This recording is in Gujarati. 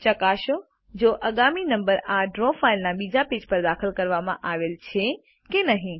ચકાસો જો આગામી નંબર આ ડ્રો ફાઈલ ના બીજા પેજ પર દાખલ કરવામાં આવેલ છે કે નહી